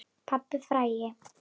Pabbinn frægi.